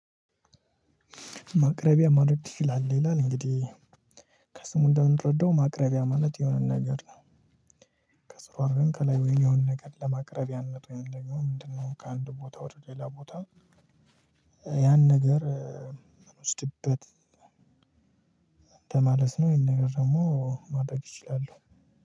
ማቅረቢያ ማድረግ ትችላለህ? ይላል እንግዲህ ከስሙ እንደምንረዳው ማቅረቢያ ማለት የሆነ ነገር ነው። ከስሯ ግን ከላይ ወይን የሆነ ነገር ለማቅረቢያነቱ ወይንም ደግሞ ምንድነው? ከአንድ ቦታ ወደ ሌላ ቦታ ያን ነገር የምንወስድበት። ለማለት ነው ይሄን ነገር ደግሞ ማድረግ እችላለሁ